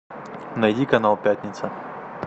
найди канал пятница